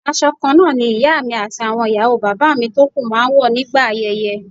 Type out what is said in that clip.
Aṣọ kan náà ni ìyá mi àti àwọn ìyàwó bàbá mi tó kú máa ń wọ̀ nígbà ayẹyẹ